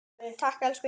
Takk, elsku Inga.